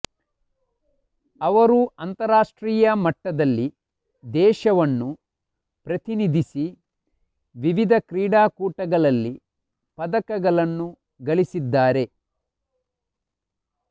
ಅವರು ಅಂತರರಾಷ್ಟ್ರೀಯ ಮಟ್ಟದಲ್ಲಿ ದೇಶವನ್ನು ಪ್ರತಿನಿಧಿಸಿ ವಿವಿಧ ಕ್ರೀಡಾಕೂಟಗಳಲ್ಲಿ ಪದಕಗಳನ್ನು ಗಳಿಸಿದ್ದಾರೆ